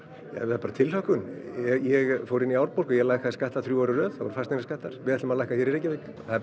nei bara tilhlökkun ég fór inn í Árborg og lækkaði skatta þrjú ár í röð það voru fasteignaskattar við ætlum að lækka hér í Reykjavík það er